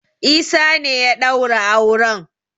Isa ne ya daura auren.